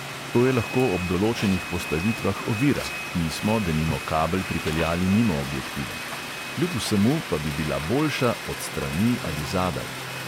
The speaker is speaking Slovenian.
To je lahko ob določenih postavitvah ovira (mi smo, denimo, kabel pripeljali mimo objektiva), kljub vsemu pa bi bila boljša od strani ali zadaj.